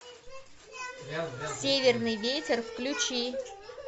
северный ветер включи